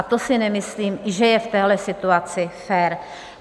A to si nemyslím, že je v téhle situaci fér.